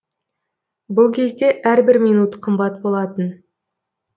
бұл кезде әрбір минут қымбат болатын